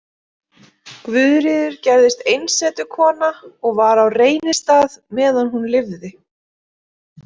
Guðríður gerðist einsetukona og var á Reynistað meðan hún lifði.